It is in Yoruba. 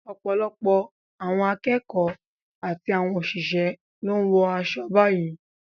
Ọ̀pọ̀lọpọ̀ àwọn akẹ́kọ̀ọ́ àti àwọn òṣìṣẹ́ ló ń wọ aṣọ báyìí